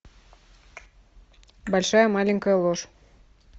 большая маленькая ложь